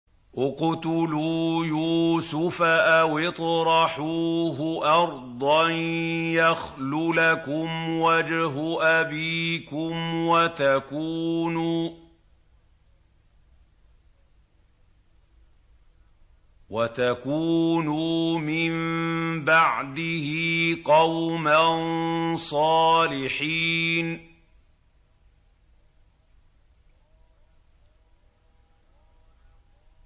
اقْتُلُوا يُوسُفَ أَوِ اطْرَحُوهُ أَرْضًا يَخْلُ لَكُمْ وَجْهُ أَبِيكُمْ وَتَكُونُوا مِن بَعْدِهِ قَوْمًا صَالِحِينَ